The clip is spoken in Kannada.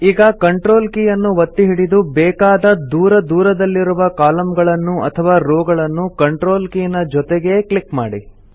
ಈಗ ಕಂಟ್ರೋಲ್ ಕೀ ಅನ್ನು ಒತ್ತಿ ಹಿಡಿದು ಬೇಕಾದ ದೂರ ದೂರದಲ್ಲಿರುವ ಕಾಲಮ್ ಗಳನ್ನು ಅಥವಾ ರೋ ಗಳನ್ನು ಕಂಟ್ರೋಲ್ ಕೀ ನ ಜೊತೆಗೇ ಕ್ಲಿಕ್ ಮಾಡಿ